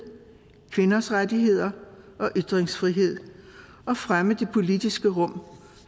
kvinders rettigheder og ytringsfrihed og fremme det politiske rum